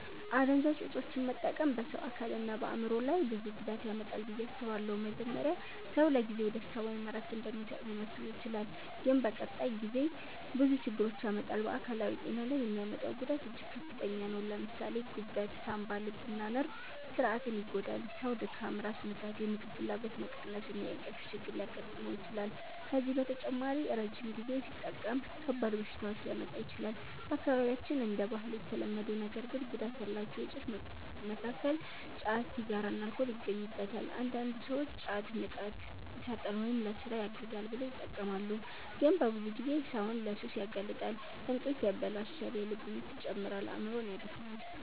አደንዛዥ እፆችን መጠቀም በሰው አካልና በአእምሮ ላይ ብዙ ጉዳት ያመጣል ብዬ አስባለሁ። መጀመሪያ ሰው ለጊዜው ደስታ ወይም እረፍት እንደሚሰጥ ሊመስለው ይችላል፣ ግን በቀጣይ ጊዜ ብዙ ችግር ያመጣል። በአካላዊ ጤና ላይ የሚያመጣው ጉዳት እጅግ ከፍተኛ ነው። ለምሳሌ ጉበት፣ ሳንባ፣ ልብና ነርቭ ስርዓትን ይጎዳል። ሰው ድካም፣ ራስ ምታት፣ የምግብ ፍላጎት መቀነስ እና የእንቅልፍ ችግር ሊያጋጥመው ይችላል። ከዚህ በተጨማሪ ረጅም ጊዜ ሲጠቀም ከባድ በሽታዎች ሊያመጣ ይችላል። በአካባቢያችን እንደ ባህል የተለመዱ ነገር ግን ጉዳት ያላቸው እፆች መካከል ጫት፣ ሲጋራና አልኮል ይገኙበታል። አንዳንድ ሰዎች ጫት “ንቃት ይሰጣል” ወይም “ለሥራ ያግዛል” ብለው ይጠቀማሉ፣ ግን በብዙ ጊዜ ሰውን ለሱስ ያጋልጣል። እንቅልፍ ያበላሻል፣ የልብ ምት ይጨምራል፣ አእምሮንም ያደክማል።